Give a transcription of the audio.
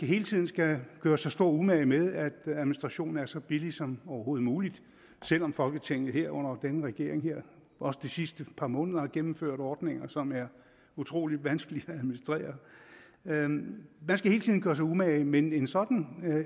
hele tiden skal gøre sig stor umage med at administrationen er så billig som overhovedet muligt selv om folketinget her under denne regering også de sidste par måneder har gennemført ordninger som er utrolig vanskelige at administrere man skal hele tiden gør sig umage men en sådan